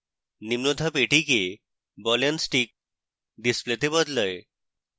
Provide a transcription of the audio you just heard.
নিম্ন ধাপ এটিকে ball and stick ডিসপ্লেতে বদলায়